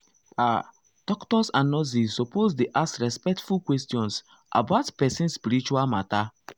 ah doctors and nurses suppose dey ask respectful questions about person spiritual matter.